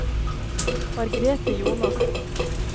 Margrethe Jonassen